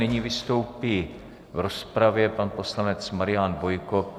Nyní vystoupí v rozpravě pan poslanec Marian Bojko.